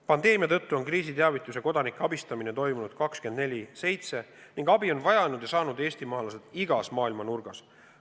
Pandeemia tõttu on kriisiteavitus ja kodanike abistamine toimunud 24/7 ning abi on vajanud ja saanud eestimaalased igas maailma nurgas.